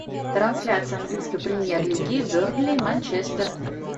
трансляция английской премьер лиги бернли манчестер